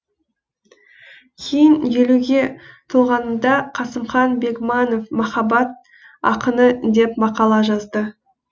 кейін елуге толғанымда қасымхан бегманов махаббат ақыны деп мақала жазды